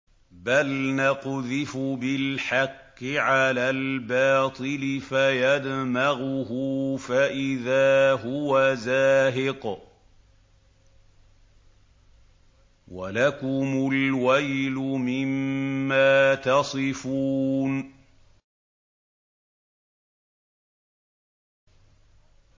بَلْ نَقْذِفُ بِالْحَقِّ عَلَى الْبَاطِلِ فَيَدْمَغُهُ فَإِذَا هُوَ زَاهِقٌ ۚ وَلَكُمُ الْوَيْلُ مِمَّا تَصِفُونَ